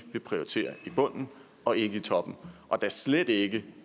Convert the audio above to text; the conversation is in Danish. prioritere i bunden og ikke i toppen og da slet ikke